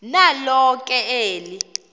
nalo ke eli